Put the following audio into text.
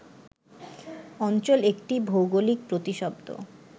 অঞ্চল একটি ভৌগোলিক প্রতিশব্দ